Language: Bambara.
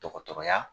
Dɔgɔtɔrɔya